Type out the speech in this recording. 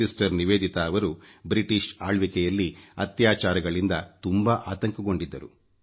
sister ನಿವೇದಿತಾರವರು British ಆಳ್ವಿಕೆಯಲ್ಲಿ ಅತ್ಯಾಚಾರಗಳಿಂದ ತುಂಬಾ ಆತಂಕಗೊಂಡಿದ್ದರು